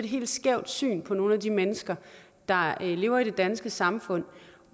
helt skævt syn på nogle af de mennesker der lever i det danske samfund